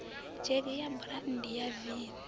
dzhege ya burandi ya v